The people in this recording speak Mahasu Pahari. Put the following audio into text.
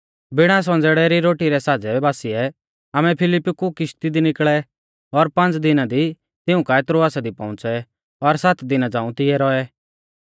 बिणा संज़ेड़ै री रोटी रै साज़ै बासिऐ आमै फिलिप्पी कु किश्ती दी निकल़ै और पांज़ दिना दी तिऊं काऐ त्रोआसा दी पौउंच़ै और सात दिना झ़ांऊ तिऐ रौऐ